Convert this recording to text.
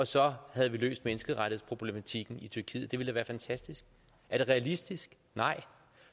så havde løst menneskerettighedsproblematikken i tyrkiet det ville da være fantastisk er det realistisk nej